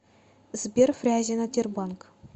сбер фрязино тербанк